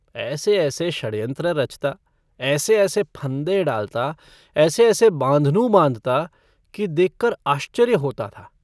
ऐसे-ऐसे षड्यंत्र रचता, ऐसे-ऐसे फंदे डालता, ऐसे-ऐसे बाँधनू बाँधता कि देखकर आश्चर्य होता था।